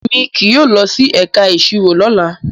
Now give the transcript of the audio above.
Emi kii yóò lọ si ẹka iṣiro lola